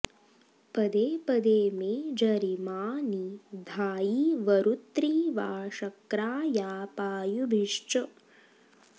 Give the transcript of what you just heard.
पदेपदे मे जरिमा नि धायि वरूत्री वा शक्रा या पायुभिश्च